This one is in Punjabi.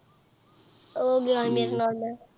ਊਹ ਗਯਾ ਆਹ ਮੇਰੇ ਨਾਲ